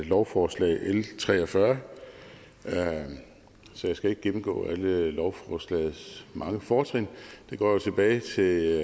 lovforslag l tre og fyrre så jeg skal ikke gennemgå alle lovforslagets mange fortrin det går jo tilbage til